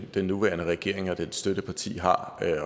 den nuværende regering og dens støtteparti har